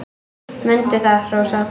Mundu það, Rósa.